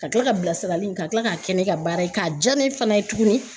Ka kila ka bilasirali in ka kila k'a kɛ ne ka baara ye k'a diya ne fana ye tuguni